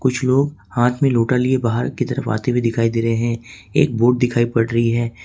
कुछ लोग हाथ में लोटा लिए बाहर की तरफ आते हुए दिखाई दे रहे हैं एक बोट दिखाई पड़ रही है।